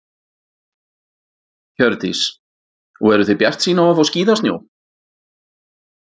Hjördís: Og eruð þið bjartsýn á að fá skíðasnjó?